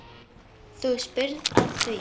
Þú spyrð að því.